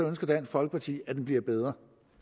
ønsker dansk folkeparti at den bliver bedre